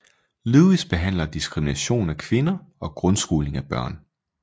Lewis behandler diskrimination af kvinder og grundskoling af børn